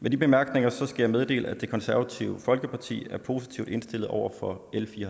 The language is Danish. med de bemærkninger skal jeg meddele at det konservative folkeparti er positivt indstillet over for